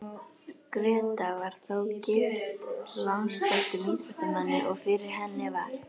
Gréta var þó gift landsþekktum íþróttamanni, og fyrir henni var